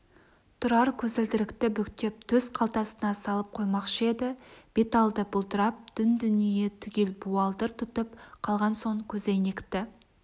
тұрар көзілдірікті бүктеп төс қалтасына салып қоймақшы еді бет алды бұлдырап дүн-дүние түгел буалдыр тұтып қалған соң көзәйнекті